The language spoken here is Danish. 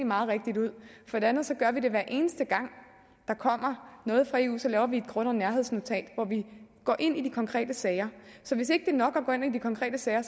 meget rigtigt ud for det andet gør vi det hver eneste gang der kommer noget fra eu så laver vi et grund og nærhedsnotat hvor vi går ind i de konkrete sager så hvis ikke det er nok at gå ind i de konkrete sager